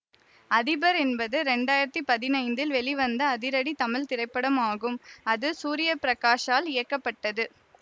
அதிபர் என்பது இரண்டாயிரத்தி பதினைந்தில் வெளிவந்த அதிரடி தமிழ் திரைப்படமாகும் அது சூர்ய பிரகாஷால் இயக்கப்பட்டது